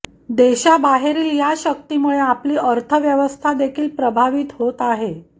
देशाबाहेरील या शक्तीमुळे आपली अर्थव्यवस्था देखील प्रभावित होत आहे